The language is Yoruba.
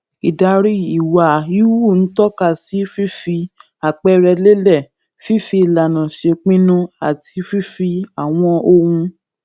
ìdarí ìwà híhù ń tóka sí fífi àpẹẹrẹ lélè fífi ìlànà ṣèpinnu àti fífi àwọn ohun